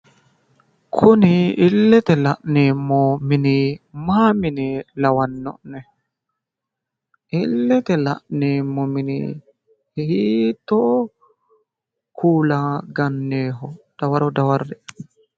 Kuni illete la'neemmo mini maa mine lawanno'ne? Illete la'neemmo mini hiitto kuula ga'newoho dawaro dawarre"e